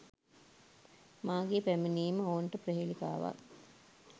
මාගේ පැමිණීම ඔවුන්ට ප්‍රහේලිකාවක්